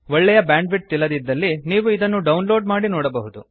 ಒಳ್ಳೆಯ bandwidth ಇಲ್ಲದಿದ್ದಲ್ಲಿ ನೀವು ಇದನ್ನು ಡೌನ್ ಲೋಡ್ ಮಾಡಿ ನೋಡಬಹುದು